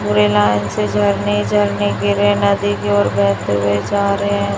गोरेलाल से झरने झरने गिरे नदी की ओर बेहते हुए जा रहे हैं।